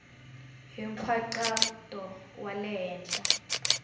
hi nkhaqato wa le henhla